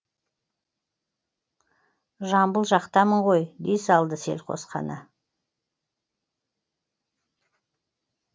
жамбыл жақтамын ғой дей салды селқос қана